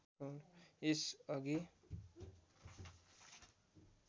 यस अघि